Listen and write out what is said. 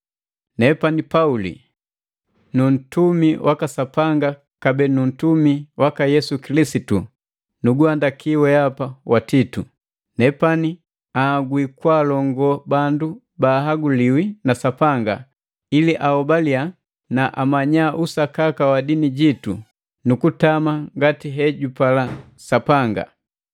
Nepani Pauli, nuntumi waka Sapanga kabee ntumi waka Yesu Kilisitu nuguhandaki weapa Titu. Nepani anhagwi kwaalongo bandu baahaguliwi na Sapanga ili ahobaliya na amanya usakaka wa dini jitu nu kutama ngati hejupala Sapanga.